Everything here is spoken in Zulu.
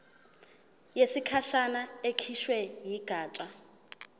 yesikhashana ekhishwe yigatsha